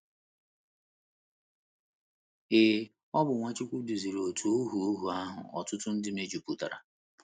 Ee, ọ bụ Nwachukwu duziri òtù ohu ohu ahụ ọtụtụ ndị mejupụtara.